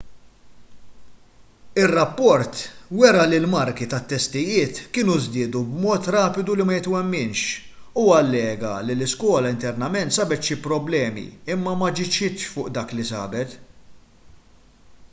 ir-rapport wera li l-marki tat-testijiet kienu żdiedu b'mod rapidu li ma jitwemminx u allega li l-iskola internament sabet xi problemi imma m'aġixxietx fuq dak li sabet